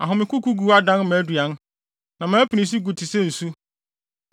Ahomekokogu adan mʼaduan; na mʼapinisi gu te sɛ nsu.